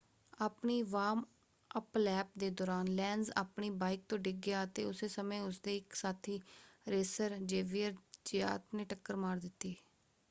ਆਪਣੀ warm up lap ਦੇ ਦੌਰਾਨ ਲੈਨਜ਼ ਆਪਣੀ ਬਾਈਕ ਤੋਂ ਡਿੱਗ ਗਿਆ ਅਤੇ ਉਸੇ ਸਮੇਂ ਉਸਦੇ ਇੱਕ ਸਾਥੀ ਰੇਸਰ ਜ਼ੇਵੀਅਰ ਜ਼ਿਆਤ ਨੇ ਟੱਕਰ ਮਾਰ ਦਿੱਤੀ।